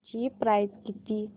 ची प्राइस किती